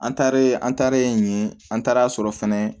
An taare an taalen yen an taar'a sɔrɔ fɛnɛ